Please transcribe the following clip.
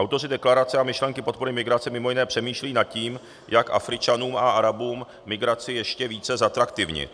Autoři deklarace a myšlenky podpory migrace mimo jiné přemýšlí nad tím, jak Afričanům a Arabům migraci ještě více zatraktivnit.